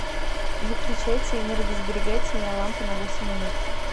выключайте энергосберегательная лампа на восемь минут